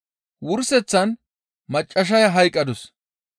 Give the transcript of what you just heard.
Wurseththan maccassaya hayqqadus.